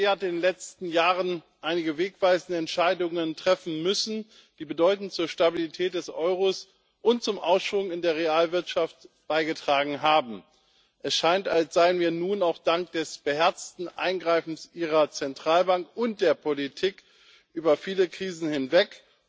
Die EZB hat in den letzten Jahren einige wegweisende Entscheidungen treffen müssen, die bedeutend zur Stabilität des Euros und zum Aufschwung in der Realwirtschaft beigetragen haben. Es scheint, als seien wir nun auch dank des beherzten Eingreifens Ihrer Zentralbank und der Politik über viele Krisen hinweg.